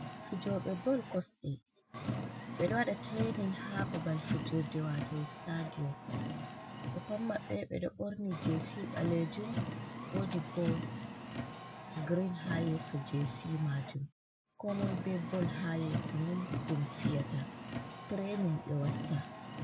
Fijobe boll kosɗe. Beɗo waɗa tirainin ha babal fijurɗe wato sitaɗiom. Be pat mabbe beɗo borni jisi balejum. Woɗi bo girin ha yeso jesi majum. Ko moi be bol ha yeso mon ɗum fiyata. Tirainin be watta.